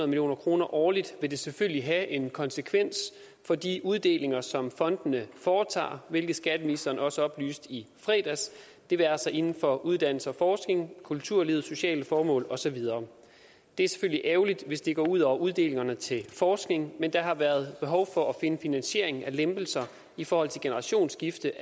million kroner årligt vil det selvfølgelig have en konsekvens for de uddelinger som fondene foretager hvilket skatteministeren også oplyste i fredags det være sig inden for uddannelse og forskning kulturlivet sociale formål og så videre det er selvfølgelig ærgerligt hvis det går ud over uddelingerne til forskning men der har været behov for at finde finansiering af lempelserne i forhold til generationsskifte